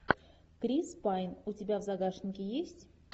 крис пайн у тебя в загашнике есть